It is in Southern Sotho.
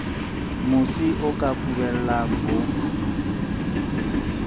mosi o ka kubellang ho